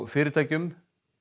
fyrirtækjum